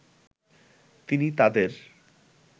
তিনি তাদের